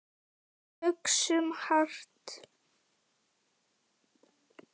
Hugsum hart.